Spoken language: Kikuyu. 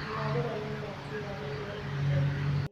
irathīro nī thaa cigana kwa īhinda rīrī